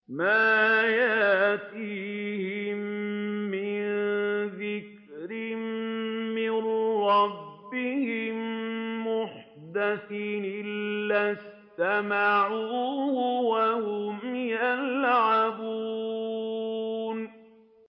مَا يَأْتِيهِم مِّن ذِكْرٍ مِّن رَّبِّهِم مُّحْدَثٍ إِلَّا اسْتَمَعُوهُ وَهُمْ يَلْعَبُونَ